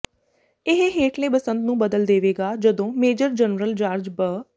ਇਹ ਹੇਠਲੇ ਬਸੰਤ ਨੂੰ ਬਦਲ ਦੇਵੇਗਾ ਜਦੋਂ ਮੇਜਰ ਜਨਰਲ ਜਾਰਜ ਬ